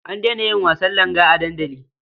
An daina yin wasan langa a dandali.